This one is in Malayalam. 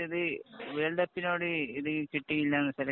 ഇത് വേള്‍ഡ് കപ്പിനോട് ചുറ്റി ഇല്ല